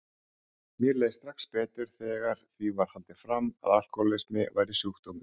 Mér leið strax betur þegar því var haldið fram að alkohólismi væri sjúkdómur.